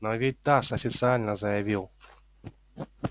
но ведь тасс официально заявил